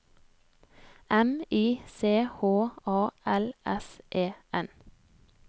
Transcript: M I C H A L S E N